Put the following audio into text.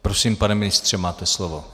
Prosím, pane ministře, máte slovo.